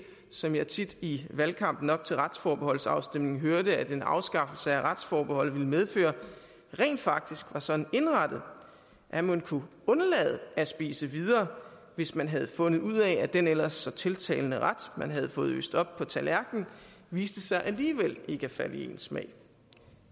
som jeg tit i valgkampen op til retsforbeholdsafstemningen hørte at en afskaffelse af retsforbeholdet ville medføre rent faktisk var sådan indrettet at man kunne undlade at spise videre hvis man havde fundet ud af at den ellers så tiltalende ret man har fået øst op på tallerkenen viste sig alligevel ikke at falde i ens smag